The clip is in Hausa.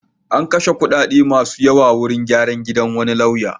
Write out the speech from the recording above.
An kashe kuɗi masu yawa wurin gyran gidan wani lauya.